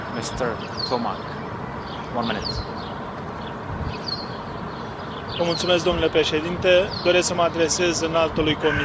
Domnule președinte, doresc să mă adresez Înaltului Comisar, în calitate de membru al Subcomisiei pentru drepturile omului din Parlamentul nostru.